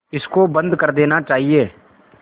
इसको बंद कर देना चाहिए